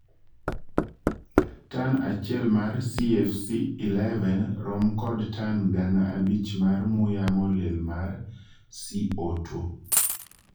Tan achiel mar CFC-11 rom kod tan gana abich mar muya molil mar CO2